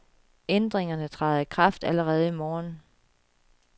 Ærdringerne træder i kraft allerede i morgen.